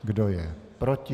Kdo je proti?